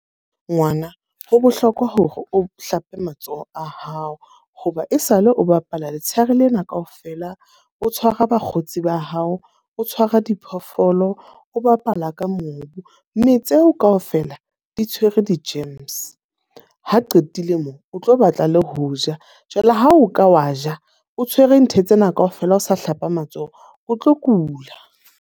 Ngwana ho bohlokwa hore o hlape matsoho a hao. Ho ba e sa le o bapala letsheare lena ka ofela. O tshwara bakgotsi ba hao, o tshwara diphoofolo, o bapala ka mobu. Mme tseo ka ofela di tshwere di-germs. Ha qetile moo, o tlo batla le ho ja. Jwale ha o ka wa ja, o tshwere ntho tsena ka ofela o sa hlapa matsoho. O tlo kula.